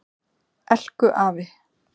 Elku afi.